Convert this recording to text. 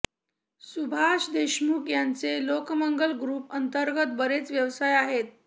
सुभाष देशमुख यांचे लोकमंगल ग्रुप अंतर्गत बरेच व्यवसाय आहेत